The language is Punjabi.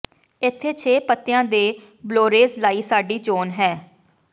ਇੱਥੇ ਛੇ ਪੱਤਿਆਂ ਦੇ ਬਲੌਰੇਜ਼ ਲਈ ਸਾਡੀ ਚੋਣ ਹੈ